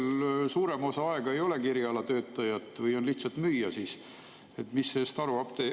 Kas seal suurem osa aega ei olegi erialatöötajat, on lihtsalt müüja või?